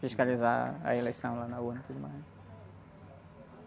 Fiscalizar a eleição lá na hora e tudo mais.